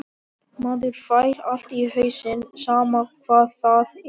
Maður fær allt í hausinn, sama hvað það er.